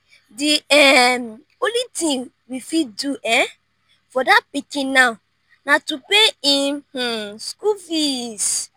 the um only thing we fit do um for dat pikin now na to pay im um school fees